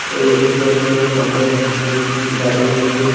ওইদিকে একটি লোক কোমরে হাত দিয়ে দাঁড়িয়ে আছে।